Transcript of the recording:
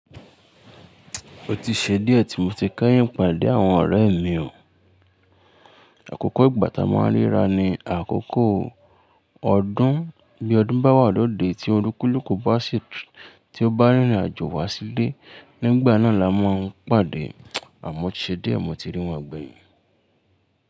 Ó ti ṣe díẹ̀ tí mo ti kẹ́yìn pàdé àwọn ọ̀rẹ́ mi o. Àkókò ìgbà tá a máa ń ríra ni àkókò ọdún, bí ọdún bá wà lóde, tí olúkúlùkù bá sì tí ó bá rìnrìn àjò wá sílé, nígbà náà la máa ń pàdé, àmọ́ ó ti ṣe díẹ̀ mo ti rí wọn gbéyìn.